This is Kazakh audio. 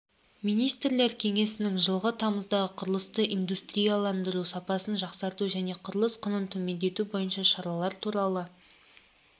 министрлер кеңесінің жылғы тамыздағы құрылысты индустриялдандыру сапасын жақсарту және құрылыс құнын төмендету бойынша шаралар туралы